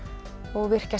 og virkja